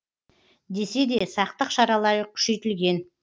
десе де сақтық шаралары күшейтілген